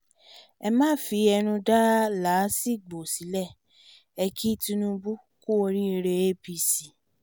ẹ má fẹnu dá làásìgbò sílé e kí tinubu kú oríire apc